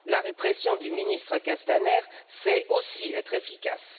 La répression du ministre Castaner sait aussi être efficace.